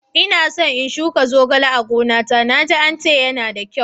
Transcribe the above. Inaso na shuka zogale a gona ta, na ji ance yana da kyau.